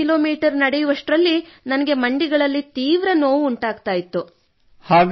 12 kilometre ನಡೆಯುವಷ್ಟರಲ್ಲಿ ನನಗೆ ಮಂಡಿಗಳಲ್ಲಿ ತೀವ್ರ ನೋವು ಉಂಟಾಗುತ್ತಿತ್ತು